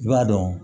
I b'a dɔn